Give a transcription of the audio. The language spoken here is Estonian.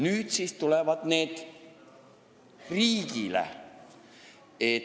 Nüüd siis tulevad need riigile.